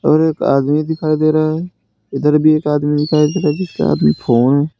और एक आदमी दिखाई दे रहा है। इधर भी एक आदमी दिखाई दे रहा है जिसके हाथ में फोन --